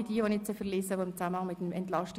Alle stehen im Zusammenhang mit dem EP 2018: